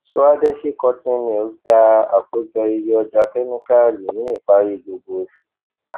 swadeshi cotton mills gba àkójọ iye ọjà kẹmíkáálì ní ìparí gbogbo oṣù